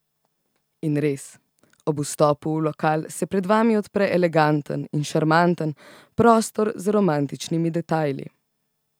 In res, ob vstopu v lokal se pred vami odpre eleganten in šarmanten prostor z romantičnimi detajli.